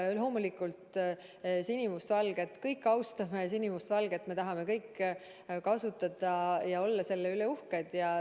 Loomulikult me kõik austame sinimustvalget, me kõik tahame seda kasutada ja olla selle üle uhked.